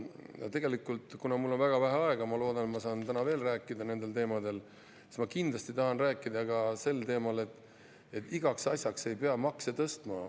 Ja tegelikult, kuna mul on väga vähe aega ja ma loodan, et ma saan täna veel rääkida nendel teemadel, siis ma kindlasti tahan rääkida ka sel teemal, et igaks asjaks ei pea makse tõstma.